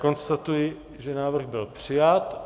Konstatuji, že návrh byl přijat.